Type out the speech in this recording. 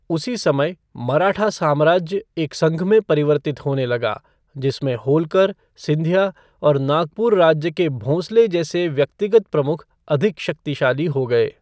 उसी समय, मराठा साम्राज्य एक संघ में परिवर्तित होने लगा, जिसमें होल्कर, सिंधिया और नागपुर राज्य के भोंसले जैसे व्यक्तिगत प्रमुख अधिक शक्तिशाली हो गए।